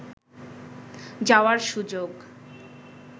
যাওয়ার সুযোগ